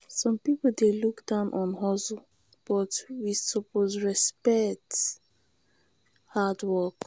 some pipo dey look down on hustle but we suppose respect hard work.